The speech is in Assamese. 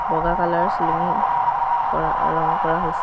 বগা কালাৰ চিলিঙি কৰা ৰং কৰা হৈছে।